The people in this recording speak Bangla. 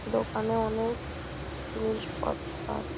দোকানে অনেক জিনিসপত্র আছে ।